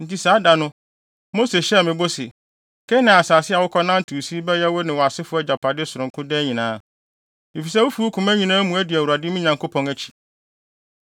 Enti saa da no, Mose hyɛɛ me bɔ se, ‘Kanaan asase a wokɔnantew so yi bɛyɛ wo ne wʼasefo agyapade sononko daa nyinaa, efisɛ wufi wo koma nyinaa mu adi Awurade, me Nyankopɔn akyi.’